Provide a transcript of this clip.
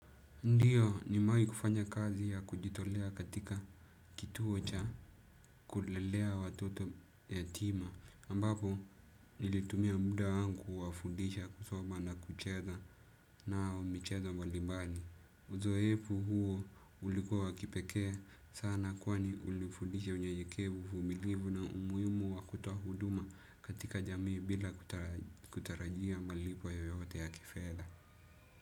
Ndiyo nimewahi kufanya kazi ya kujitolea katika kituo cha kulelea watoto yatima ambapo nilitumia muda wangu kuwafundisha, kusoma na kucheza nao michezo mbalimbali. Uzoefu huo ulikuwa wa kipekee sana kwani ulifundisha unyenyeikevu, uvumilivu na umuhimu wa kutoa huduma katika jamii bila kutarajia malipo ya yoyote ya kifedha.